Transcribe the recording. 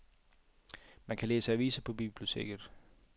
Man kan læse aviser på biblioteket.